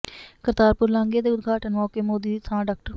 ਕਰਤਾਰਪੁਰ ਲਾਂਘੇ ਦੇ ਉਦਘਾਟਨ ਮੌਕੇ ਮੋਦੀ ਦੀ ਥਾਂ ਡਾ